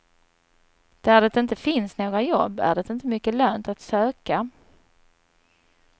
Där det inte finns några jobb är det inte mycket lönt att söka.